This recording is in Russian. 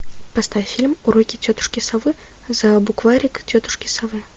поставь фильм уроки тетушки совы за букварик тетушки совы